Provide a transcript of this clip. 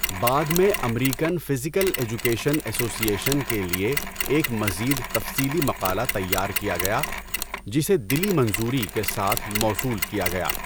بعد میں American physical education association کے لیے ایک مزید تفصیلی مقالہ تیار کیا گیا، جسے 'دلی منظوری' کے ساتھ موصول کیا گیا۔